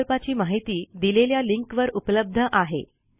प्रकल्पाची माहिती दिलेल्या लिंकवर उपलब्ध आहे